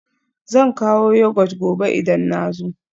Zan kawo Yogurt gobe idan na zo